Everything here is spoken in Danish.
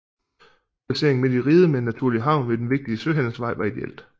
Placeringen midt i riget med en naturlig havn ved en vigtig søhandelsvej var ideelt